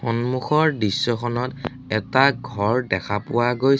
সন্মুখৰ দৃশ্যখনত এটা ঘৰ দেখা পোৱা গৈছে